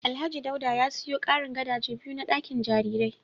Alhaji Dauda ya siyo karin gadaje biyu na dakin jarirai